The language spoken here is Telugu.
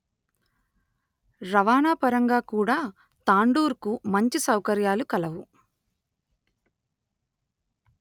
రవాణా పరంగా కూడా తాండూర్ కు మంచి సౌకర్యాలు కలవు